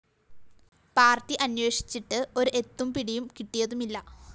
party അന്വേഷിച്ചിട്ട്‌ ഒരു എത്തും പിടിയും കിട്ടിയതുമില്ല